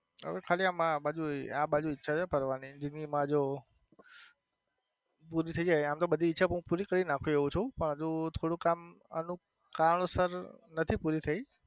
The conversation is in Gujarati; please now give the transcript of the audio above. ખાલી આમ આબાજુ આબાજુ ઈચ્છા છે ફરવા ની જિંદગી માં જો, પુરી થઈ જાય એમ તો બધી ઈચ્છા હું પુરી કરી નાખી એવો છું હજુ થોડું આમ અમુક કારણો સર નથી પુરી થઈ.